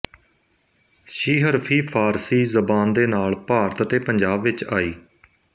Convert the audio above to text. ਸੀਹਰਫ਼ੀ ਫ਼ਾਰਸੀ ਜ਼ਬਾਨ ਦੇ ਨਾਲ ਭਾਰਤ ਤੇ ਪੰਜਾਬ ਵਿੱਚ ਆਈ